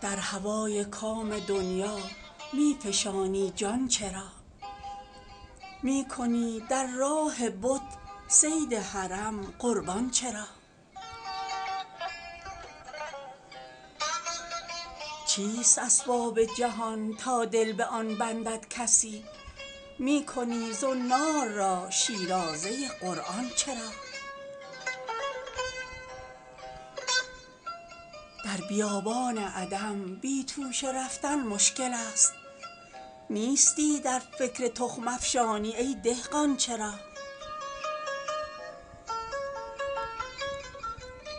در هوای کام دنیا می فشانی جان چرا می کنی در راه بت صید حرم قربان چرا چیست اسباب جهان تا دل به آن بندد کسی می کنی زنار را شیرازه قرآن چرا در بیابان عدم بی توشه رفتن مشکل است نیستی در فکر تخم افشانی ای دهقان چرا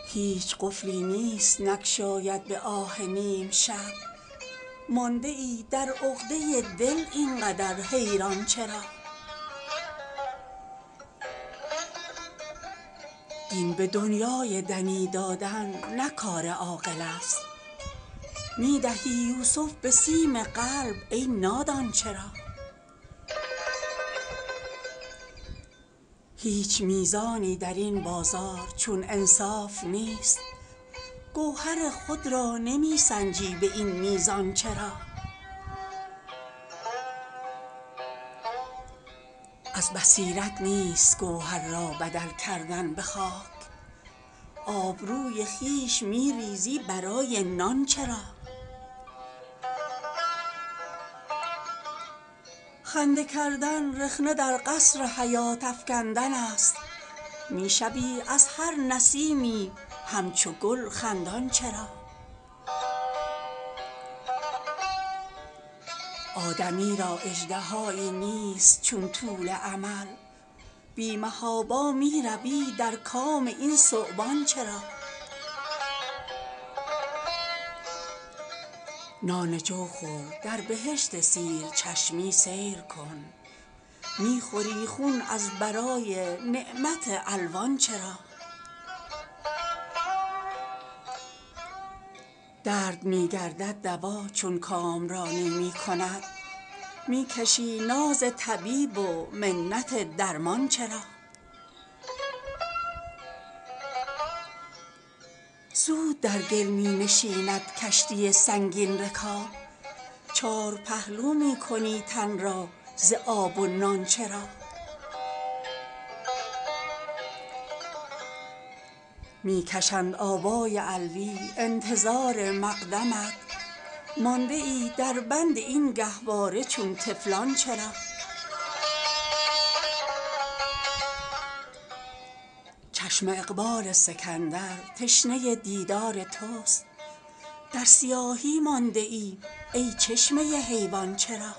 هیچ قفلی نیست نگشاید به آه نیمشب مانده ای در عقده دل اینقدر حیران چرا دین به دنیای دنی دادن نه کار عاقل است می دهی یوسف به سیم قلب ای نادان چرا هیچ میزانی درین بازار چون انصاف نیست گوهر خود را نمی سنجی به این میزان چرا از بصیرت نیست گوهر را بدل کردن به خاک آبروی خویش می ریزی برای نان چرا خنده کردن رخنه در قصر حیات افکندن است می شوی از هر نسیمی همچو گل خندان چرا آدمی را اژدهایی نیست چون طول امل بی محابا می روی در کام این ثعبان چرا نان جو خور در بهشت سیر چشمی سیر کن می خوری خون از برای نعمت الوان چرا درد می گردد دوا چون کامرانی می کند می کشی ناز طبیب و منت درمان چرا زود در گل می نشیند کشتی سنگین رکاب چارپهلو می کنی تن را ز آب و نان چرا می کشند آبای علویٰ انتظار مقدمت مانده ای دربند این گهواره چون طفلان چرا چشم اقبال سکندر تشنه دیدار توست در سیاهی مانده ای ای چشمه حیوان چرا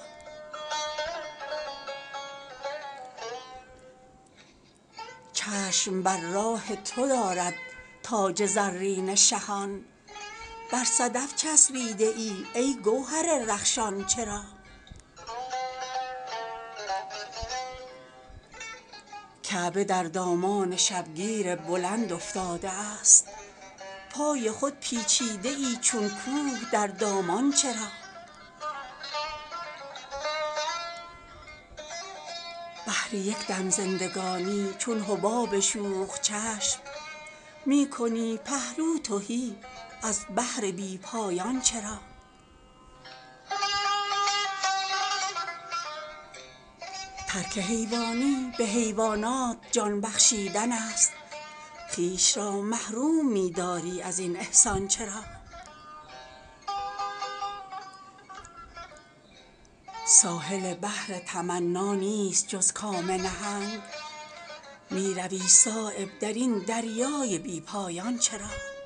چشم بر راه تو دارد تاج زرین شهان بر صدف چسبیده ای ای گوهر رخشان چرا کعبه در دامان شبگیر بلند افتاده است پای خود پیچیده ای چون کوه در دامان چرا بهر یک دم زندگانی چون حباب شوخ چشم می کنی پهلو تهی از بحر بی پایان چرا ترک حیوانی به حیوانات جان بخشیدن است خویش را محروم می داری ازین احسان چرا ساحل بحر تمنا نیست جز کام نهنگ می روی صایب درین دریای بی پایان چرا